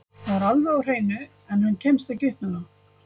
Það er alveg á hreinu, en hann kemst ekki upp með það.